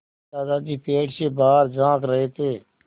दादाजी पेड़ से बाहर झाँक रहे थे